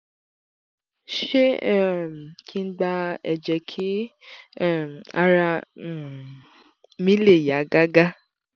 ṣé um kí n gba ẹ̀jẹ̀ kí um ara um mi le yá gágá?